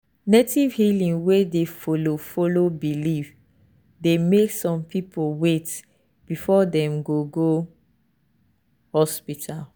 native healing wey dey follow follow belief dey make some people wait before dem go go hospital.